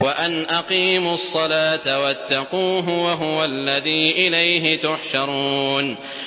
وَأَنْ أَقِيمُوا الصَّلَاةَ وَاتَّقُوهُ ۚ وَهُوَ الَّذِي إِلَيْهِ تُحْشَرُونَ